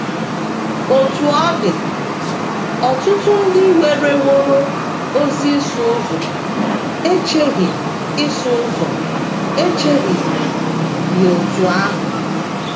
Otú ọ dị, ọtụtụ ndị werewooro ozi ịsụ ụzọ echeghị ịsụ ụzọ echeghị ya otú ahụ.